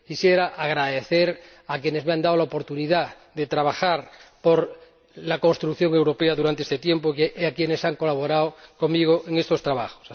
Quisiera agradecer a quienes me han dado la oportunidad de trabajar por la construcción europea durante este tiempo y a quienes han colaborado conmigo en estos trabajos.